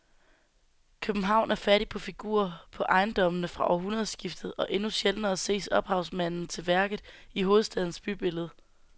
København er fattig på figurer på ejendommene fra århundredskiftet og endnu sjældnere ses ophavsmanden til værket i hovedstadens bybillede.